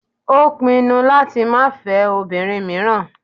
Ó pinu láti máa fẹ́ obìnrin míràn.